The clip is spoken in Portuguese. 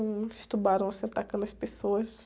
Um de tubarão, assim, atacando as pessoas.